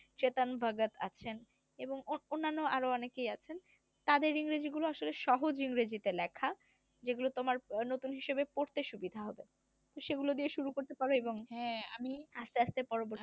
আছেন এবং অন্যান্য আরো অনেকে আছেন তাদের ইংরেজি গুলো আসলে সাহজ ইংরেজিতে লেখা যেগুল তোমার নতুন হিসেবে পড়তে সুবিধা হবে। তো সেগুলো দিয়ে শুরু করতে পারো এবং আস্তে আস্তে পরবর্তীতে